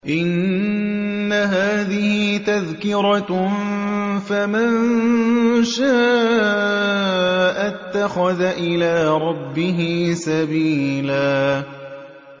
إِنَّ هَٰذِهِ تَذْكِرَةٌ ۖ فَمَن شَاءَ اتَّخَذَ إِلَىٰ رَبِّهِ سَبِيلًا